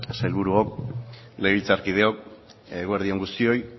sailburuok legebiltzarkideok eguerdi on guztioi